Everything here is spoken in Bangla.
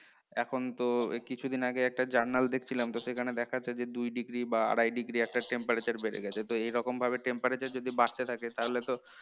এখন তো এই কিছুদিন আগে একটা journal দেখছিলাম তো সেখানে দেখাচ্ছে যে, দুই degree বা আড়াই degree একটা temperature বেড়ে গেছে তো এইরকম ভাবে temperature যদি বাড়তে থাকে তাহলে তো